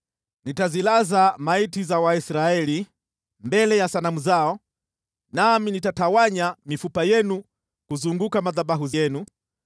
Nitazilaza maiti za Waisraeli mbele ya sanamu zao, nami nitatawanya mifupa yenu kuzunguka madhabahu yenu.